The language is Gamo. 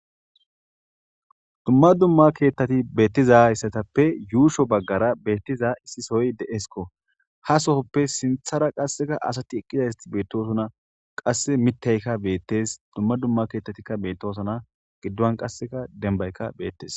Dumma dumma keettati beettiza issatappe yuusho baggara beettiza issi soy de7esko ha sohoppe sinthara qasseka asati eqqiza sati beettosuna qasse mittaykka beettes dumma dumma keettatikka bettosana giddon qasseka denbaykka beettes.